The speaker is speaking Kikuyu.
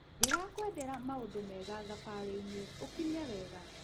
Ndĩrakwendera maũndũ mega thabarĩ-inĩ, ũkinye wega.